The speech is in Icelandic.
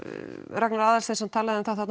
Ragnar Aðalsteinsson talaði um